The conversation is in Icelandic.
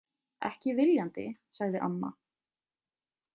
Ekki viljandi, sagði amma.